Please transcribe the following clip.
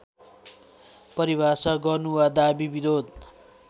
परिभाषा गर्नु वा दाबी विरोध